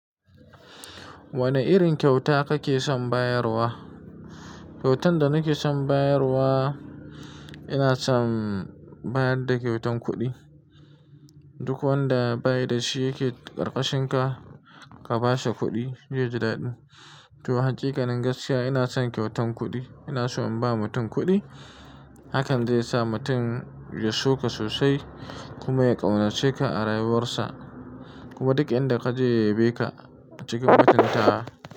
Wane irin kyauta kake son bayarwa? Kyautan da nake son bayarwa, ina son bayar da kyautan kuɗi. Duk wanda ba da shi yake ƙarƙashinka ka ba shi kuɗi, zai ji daɗi. To, haƙiƙa nin gaskiya ina son kyautan kuɗi. Ina so in ba mutum kuɗi, hakan zai sa mutum ya so ka sosai kuma ya ƙaunace ka a rayuwarsa. Kuma duk inda ka je ya yabeka acikin mutuntawa.